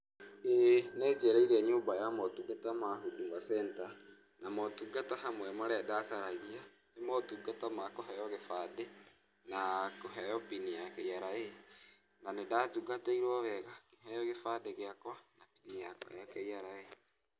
Ĩ, nĩ njereire nyũmba ya motungata ma Huduma Center , na maoũtungata hamwe marĩa ndacaragia, nĩ motungata ma kũheo gĩbandĩ, na kũheo pin ya KRA, na nĩ ndatungatĩirwo wega, ngĩheo gĩbandĩ gĩakwa na pin yakwa ya KRA.